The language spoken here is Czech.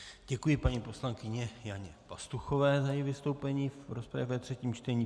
Děkuji paní poslankyni Janě Pastuchové za její vystoupení v rozpravě ve třetím čtení.